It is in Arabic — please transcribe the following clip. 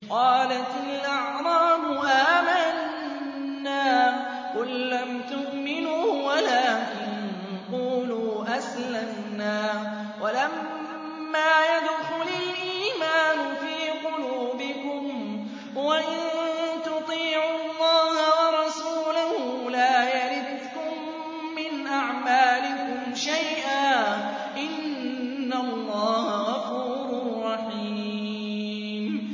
۞ قَالَتِ الْأَعْرَابُ آمَنَّا ۖ قُل لَّمْ تُؤْمِنُوا وَلَٰكِن قُولُوا أَسْلَمْنَا وَلَمَّا يَدْخُلِ الْإِيمَانُ فِي قُلُوبِكُمْ ۖ وَإِن تُطِيعُوا اللَّهَ وَرَسُولَهُ لَا يَلِتْكُم مِّنْ أَعْمَالِكُمْ شَيْئًا ۚ إِنَّ اللَّهَ غَفُورٌ رَّحِيمٌ